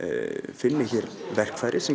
finni hér verkfæri sem